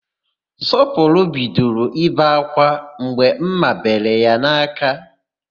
Sọpụrụ bidoro ibe ákwá mgbe ḿmà bere ya n'aka.